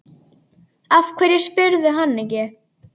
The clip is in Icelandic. Af hverju spyrðu hann ekki?